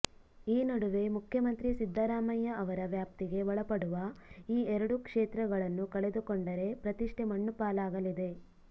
ಈ ನಡುವೆ ಮುಖ್ಯಮಂತ್ರಿ ಸಿದ್ದರಾಮಯ್ಯ ಅವರ ವ್ಯಾಪ್ತಿಗೆ ಒಳಪಡುವ ಈ ಎರಡು ಕ್ಷೇತ್ರಗಳನ್ನು ಕಳೆದುಕೊಂಡರೆ ಪ್ರತಿಷ್ಠೆ ಮಣ್ಣುಪಾಲಾಗಲಿದೆ